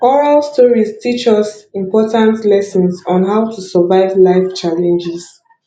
oral stories teach us important lessons on how to survive life challenges